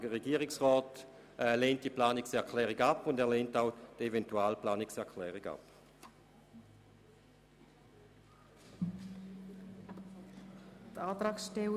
Der Regierungsrat lehnt deshalb diese Planungserklärung sowie die Eventual-Planungserklärung ab.